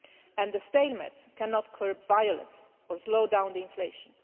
and the stalemates cannot curb violence or slow down the inflation.